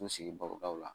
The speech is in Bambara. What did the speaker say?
N sigi barodaw la